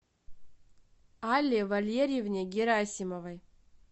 алле валерьевне герасимовой